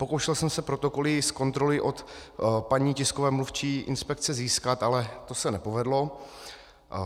Pokoušel jsem se protokoly z kontroly od paní tiskové mluvčí inspekce získat, ale to se nepovedlo.